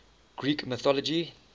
greek mythology